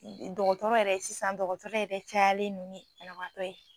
Sɔgɔtɔrɔ yɛrɛ, sisan dɔgɔtɔrɔ yɛrɛ cayalen ni banabagatɔ ye.